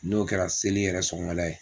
N'o kɛra seli yɛrɛ sɔgɔmada ye.